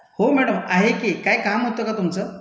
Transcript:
हो मैडम आहे की, काही काम होतं का तुमचं?